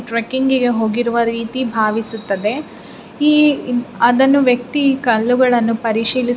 Trekking ಹೋಗಿರುವ ರೀತಿ ಭಾವಿಸುತ್ತಿದೆ ಈ ಅದನ್ನು ವ್ಯಕ್ತಿ ಕಲ್ಲುಗಳನ್ನು ಪರಿಶೀಲಿಸಿ.